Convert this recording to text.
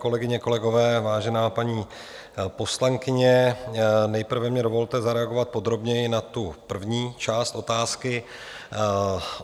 Kolegyně, kolegové, vážená paní poslankyně, nejprve mi dovolte zareagovat podrobněji na tu první část otázky.